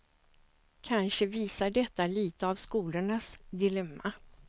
Kanske visar detta lite av skolornas dilemma.